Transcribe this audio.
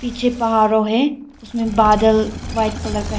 पीछे पहाड़ों हैं इसमें बादल व्हाइट कलर का है।